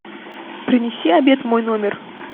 принеси обед в мой номер